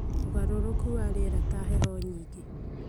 ũgarũrũku wa rĩera ta heho nyingĩ,